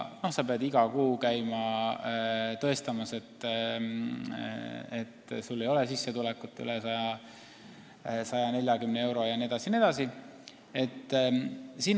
Sa pead iga kuu käima tõestamas, et sul ei ole sissetulekut üle 140 euro jne.